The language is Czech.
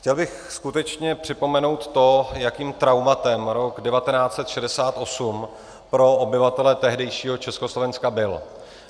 Chtěl bych skutečně připomenout to, jakým traumatem rok 1968 pro obyvatele tehdejšího Československa byl.